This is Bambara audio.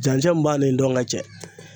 Dancɛ min b'a ni dɔnkɛ cɛ.